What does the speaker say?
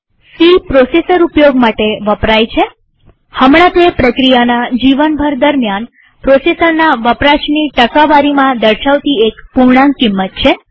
C processor ઉપયોગ માટે વપરાય છેહમણાંતે પ્રક્રિયાના જીવનભર દરમ્યાન પ્રોસેસરના વપરાશની ટકાવારીમાં દર્શાવતી એક પૂર્ણાંક કિંમત છે